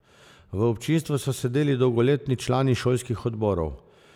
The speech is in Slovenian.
V občinstvu so sedeli dolgoletni člani šolskih odborov.